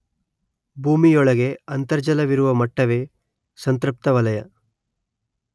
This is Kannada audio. ಭೂಮಿಯೊಳಗೆ ಅಂತರ್ಜಲವಿರುವ ಮಟ್ಟವೇ ಸಂತೃಪ್ತವಲಯ